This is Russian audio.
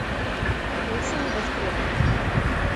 поищи небоскреб